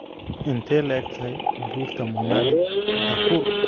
intee le'eg tahay buurta monali thakur